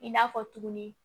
I n'a fɔ tuguni